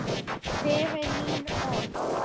Fyrir mín orð.